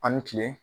An ni kile